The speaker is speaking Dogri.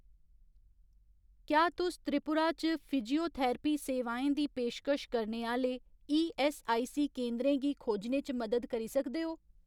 क्या तुस त्रिपुरा च फिजियोथरैपी सेवाएं दी पेशकश करने आह्‌ले ईऐस्सआईसी केंदरें गी खोजने च मदद करी सकदे ओ ?